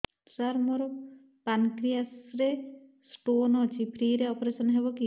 ସାର ମୋର ପାନକ୍ରିଆସ ରେ ସ୍ଟୋନ ଅଛି ଫ୍ରି ରେ ଅପେରସନ ହେବ କି